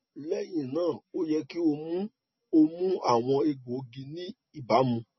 lẹhinna o yẹ ki o mu o mu awọn egboogi ni ibamu